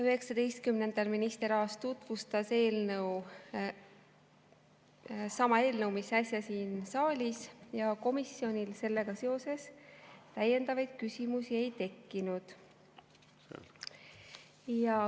19‑ndal minister Aas tutvustas eelnõu, sama eelnõu, mida äsja siin saalis, ja komisjonil sellega seoses täiendavaid küsimusi ei tekkinud.